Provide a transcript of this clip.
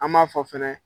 An m'a fɔ fɛnɛ